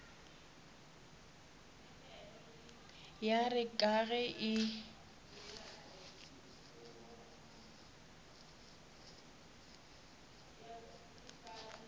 ya re ka ge e